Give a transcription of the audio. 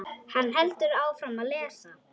Hann heldur áfram að lesa: